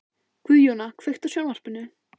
Guðjóna, kveiktu á sjónvarpinu.